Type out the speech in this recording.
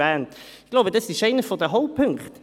das ist einer der Hauptpunkte.